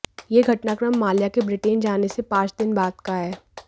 यह घटनाक्रम माल्या के ब्रिटेन जाने से पांच दिन बाद का है